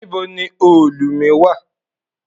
Níbo ni òòlù mi wà?